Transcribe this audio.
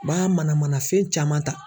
U b'a mana mana fɛn caman ta.